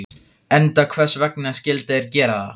Enda hvers vegna skyldu þeir gera það?